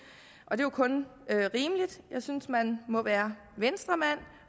er jo kun rimeligt jeg synes man må være venstremand